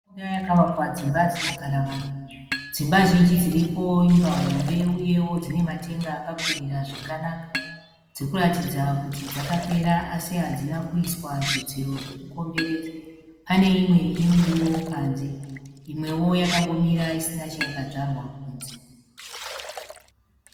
Yakavakwa dzimba dzinogara vanhu. Dzimba zhinji dziripo imba hombe uyewo dzinematenga akakwirira zvakanaka. Dzirikuratidza kuti dzakapera asi hadzina kuiswa zvidziro zvekukomberedza. Pane imwe inemuriwo panze imwewo yakangomira isina chayakadzvarwa kunze.